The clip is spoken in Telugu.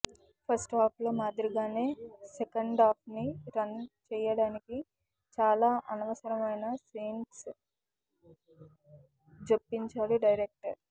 ఫస్ట్ హాఫ్లో మాదిరిగానే సెకండాఫ్ని రన్ చేయడానికి చాలా అనవసరమైన సీన్స్ని జొప్పించాడు డైరెక్టర్